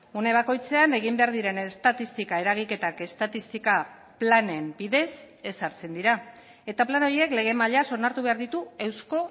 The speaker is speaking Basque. une bakoitzean egin behar diren estatistika eragiketak estatistika planen bidez ezartzen dira eta plan horiek lege mailaz onartu behar ditu eusko